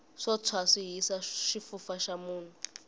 swo tshwa swi hisa xifufa xa munhu